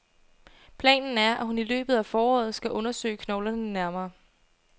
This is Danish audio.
Planen er, at hun i løbet af foråret skal undersøge knoglerne nærmere.